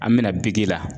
An bɛna la